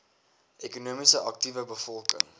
ekonomies aktiewe bevolking